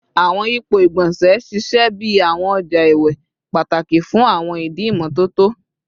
Awọn yipo igbonse ṣiṣẹ bi awọn ọja iwe pataki fun awọn idi imototo